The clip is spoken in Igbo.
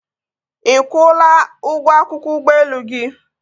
Ị kwụla ụgwọ akwụkwọ ụgbọelu gị?